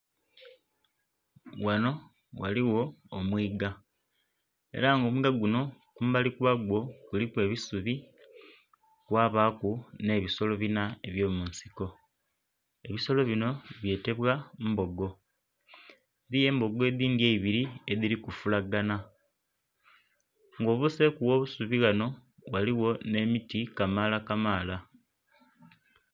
Ghanho ghaligho omwiiga era nga omwiiga gunho kumbali kwa gwo kuliku ebisubi kwabaku nh'ebisolo bina eby'omunsiko. Ebisolo binho byetebwa mbogo. Eliyo embogo edindhi eibiri edhili kufulagana. Nga obuseeku gh'obusubi ghano ghaligho nhe miti kamaala kamaala.